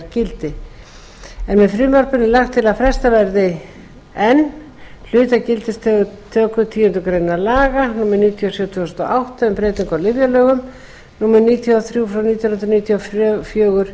gildi með frumvarpinu er lagt til að frestað verði ekki hluta af gildistöku tíundu grein laga númer níutíu og sjö tvö þúsund og átta um breytingu á lyfjalögum númer níutíu og þrjú nítján hundruð níutíu og fjögur